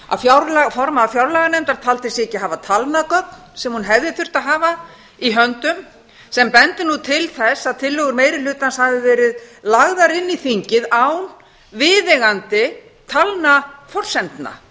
að formaður fjárlaganefndar taldi sig ekki hafa talnagögn sem hún hefði þurft að hafa í höndum sem bendir til þess að tillögur meiri hlutans hafi verið lagðar inn í þingið án viðeigandi talnaforsendna það